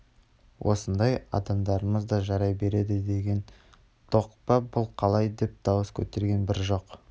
осындай адамдарымыз да жарай береді деген доқ па бұл қалай деп дауыс көтерген бір жоқ